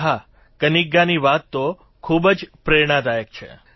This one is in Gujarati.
અને હા કન્નિગાની વાત તો ખૂબ જ પ્રેરણાદાયક છે